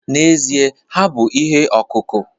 N'ezie. ha bụ ihe ọkụkụ